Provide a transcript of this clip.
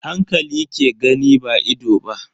Hankali ke gani ba ido ba.